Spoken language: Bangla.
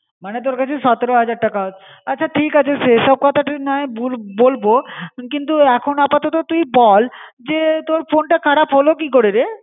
মানে তোর কাছে সতেরো হাজার টাকা. আচ্ছা ঠিক আছে সে সব কথা তুই না হয় বলবো। কিন্তু, এখন আপাতত তুই বল যে তোর ফোন তা খারাপ হলো কী করে রে.